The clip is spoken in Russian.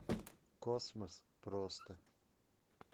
космос просто